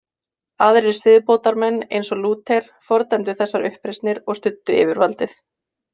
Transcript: Aðrir siðbótarmenn, eins og Lúther, fordæmdu þessar uppreisnir og studdu yfirvaldið.